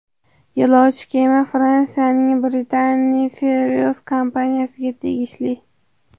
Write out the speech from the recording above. Yo‘lovchi kema Fransiyaning Brittany Ferries kompaniyasiga tegishli.